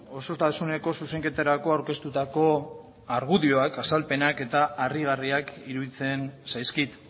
osotasuneko zuzenketarako aurkeztutako argudioak azalpenak eta harrigarriak iruditzen zaizkit